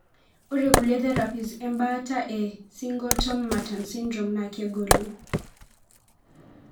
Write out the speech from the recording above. Ore kulie therapies embaata e Singletom Merten sydrome na kegolie.